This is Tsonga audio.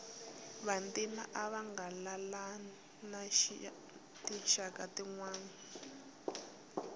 vantima ava nga laleli na tinxaka tinwana